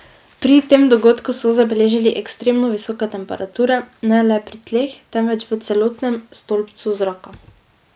Pri tem dogodku so zabeležili ekstremno visoke temperature, ne le pri tleh, temveč v celotnem stolpcu zraka.